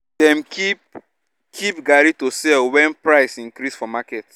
dem keep keep garri to sell wen price increase for market